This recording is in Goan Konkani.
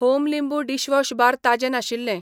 होम लिंबू डिशवॉश बार ताजें नाशिल्ले.